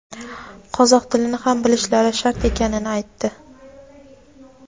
qozoq tilini ham bilishlari shart ekanini aytdi.